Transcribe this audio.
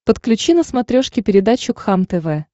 подключи на смотрешке передачу кхлм тв